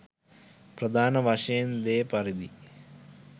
ප්‍රධාන වශයෙන් දෙ පරිදියි.